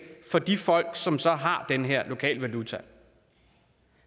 for de folk som så har den her lokale valuta